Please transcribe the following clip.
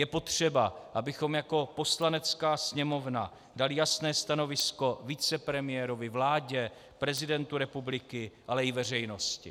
Je potřeba, abychom jako Poslanecká sněmovna dali jasné stanovisko vicepremiérovi, vládě, prezidentu republiky, ale i veřejnosti.